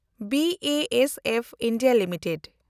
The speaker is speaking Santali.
B A S F India limited